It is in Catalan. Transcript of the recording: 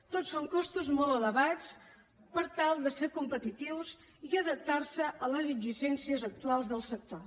tots són costos molt elevats per tal de ser competitius i adaptar se a les exigències actuals del sector